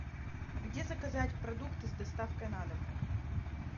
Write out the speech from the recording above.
где заказать продукты с доставкой на дом